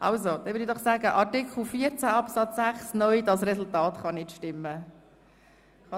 Dann würde ich doch sagen, dass hier das Resultat nicht stimmen kann.